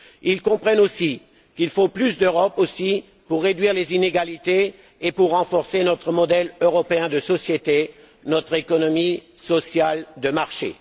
Ils comprennent qu'il faut plus d'Europe aussi pour réduire les inégalités et pour renforcer notre modèle européen de société, notre économie sociale de marché.